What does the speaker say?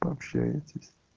пообщаетесь